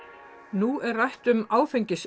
nú er rætt um áfengis